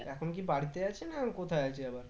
এখন কি বাড়িতে আছে না কোথায় আছে আবার?